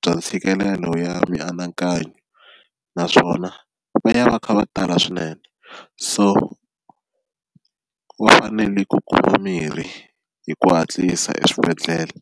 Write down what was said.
bya ntshikelelo ya mianakanyo naswona va ya va kha va tala swinene, so va fanele ku kuma mirhi hi ku hatlisa eswibedhlele.